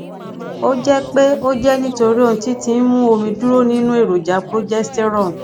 o jẹ pé ó jẹ nítorí ohun tí tí ń mú omi dúró nínú èròjà progesterone